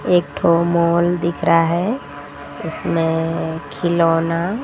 एक ठो मॉल दिख रहा है इसमें खिलौना--